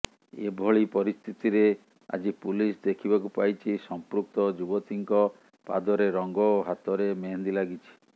ଏଭଳି ପରିସ୍ଥିତିରେ ଆଜି ପୁଲିସ ଦେଖିବାକୁ ପାଇଛି ସଂପୃକ୍ତ ଯୁବତୀଙ୍କ ପାଦରେ ରଙ୍ଗ ଓ ହାତରେ ମେହେନ୍ଦି ଲାଗିଛି